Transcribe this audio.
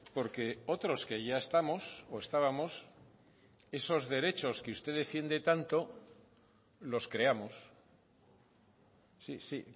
porque otros que ya estamos o estábamos esos derechos que usted defiende tanto los creamos sí sí